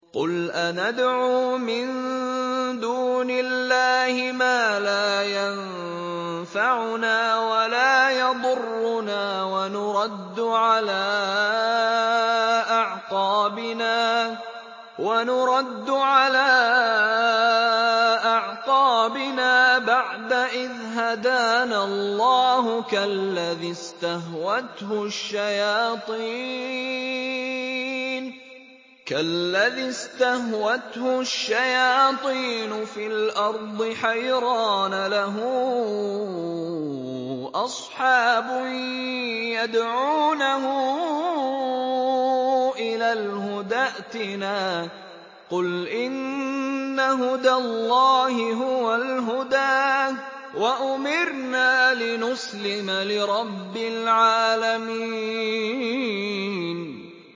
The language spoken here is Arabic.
قُلْ أَنَدْعُو مِن دُونِ اللَّهِ مَا لَا يَنفَعُنَا وَلَا يَضُرُّنَا وَنُرَدُّ عَلَىٰ أَعْقَابِنَا بَعْدَ إِذْ هَدَانَا اللَّهُ كَالَّذِي اسْتَهْوَتْهُ الشَّيَاطِينُ فِي الْأَرْضِ حَيْرَانَ لَهُ أَصْحَابٌ يَدْعُونَهُ إِلَى الْهُدَى ائْتِنَا ۗ قُلْ إِنَّ هُدَى اللَّهِ هُوَ الْهُدَىٰ ۖ وَأُمِرْنَا لِنُسْلِمَ لِرَبِّ الْعَالَمِينَ